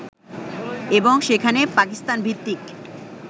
এবং সেখানে পাকিস্তান ভিত্তিক